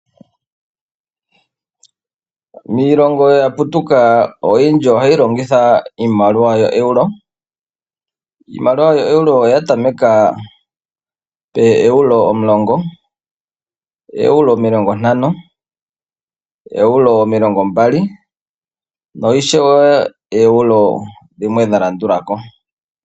Iilongo ya putuka oyindji ohayi longitha iimaliwa oEuro. Iimaliwa yoEuro oya tameka pooEuro omulongo, ooEuro omilongo ntano, ooEuro omilongo mbali, na ishewe Euro dhimwe dha landula ko.